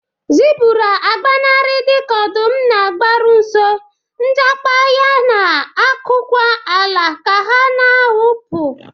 Zebura agbanarị dika ọdụm na-abịaru nso, njakpa ha na-akụkwa ala ka ha na-awụpụ.